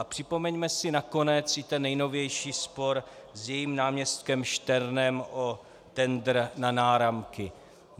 A připomeňme si nakonec i ten nejnovější spor s jejím náměstkem Šternem o tendr na náramky.